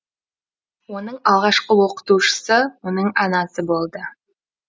оның алғашқы оқытушысы оның анасы болды